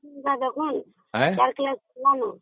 ନା ଦେଖନ୍ତୁ